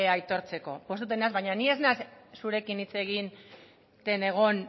aitortzeko pozten naiz baina ni ez naiz zurekin hitz egiten egon